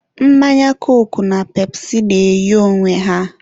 mmanya koku na pepụsi na-eyi onwe ha.